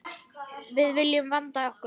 Við viljum vanda okkur.